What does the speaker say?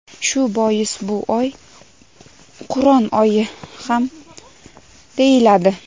Shu bois bu oy Qur’on oyi ham deyiladi.